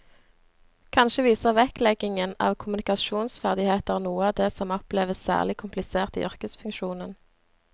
Kanskje viser vektleggingen av kommunikasjonsferdigheter noe av det som oppleves særlig komplisert i yrkesfunksjonen.